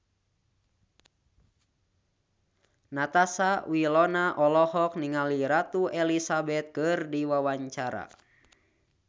Natasha Wilona olohok ningali Ratu Elizabeth keur diwawancara